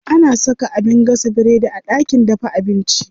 Ana saka abin gasa biredi a ɗakin dafa abinci.